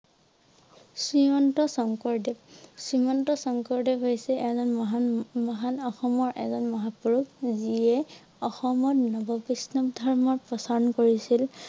শ্ৰীমন্ত শংকৰদেৱ । শ্ৰীমন্ত শংকৰদেৱে হৈছে এজন মহান~মহান অসমৰ এজন মহাপুৰুষ যিয়ে অসমত নব বৈষ্ণৱ ধৰ্ম প্ৰচাৰ কৰিছিল।